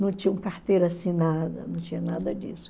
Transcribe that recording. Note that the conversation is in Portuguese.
Não tinham carteira assinada, não tinha nada disso.